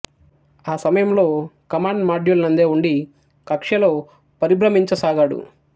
ఆ సమయంలో command module నందే ఉండి కక్ష్యలో పరిభ్రమించసాగాడు